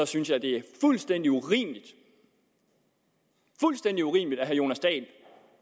synes jeg det er fuldstændig urimeligt fuldstændig urimeligt at herre jonas dahl